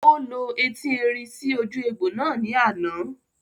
Ó lo eti erin sí ojú egbò náà ní àná